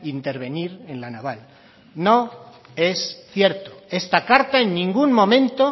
intervenir en la naval no es cierto esta carta en ningún momento